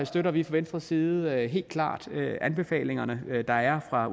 støtter vi fra venstres side helt klart anbefalingerne der er fra